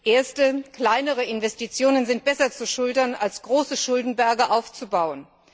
Erste kleinere Investitionen sind besser zu schultern, als große Schuldenberge anzuhäufen.